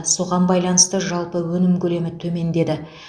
соған байланысты жалпы өнім көлемі төмендеді